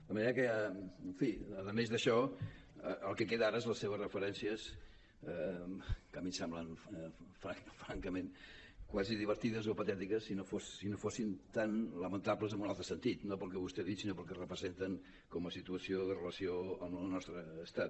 de manera que a més d’això el que queda ara són les seves referències que a mi em semblen francament quasi divertides o patètiques si no fossin tan lamentables en un altre sentit no pel que vostè ha dit sinó pel que representen com a situació de relació amb el nostre estat